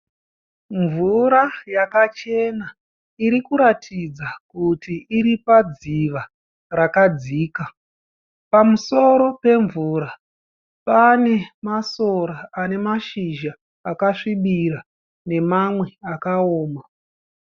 Mvura yakachena irikuratidza kuti iri padziva rakadzika. Pamusoro pemvura pane masora ane mashizha akasvibira nemamwe akaoma.